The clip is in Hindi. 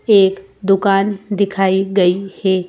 एक दुकान दिखाई गई हैं।